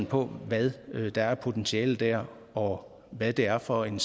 på hvad der er af potentiale der og hvad det er for en